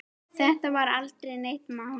Þetta var aldrei neitt mál.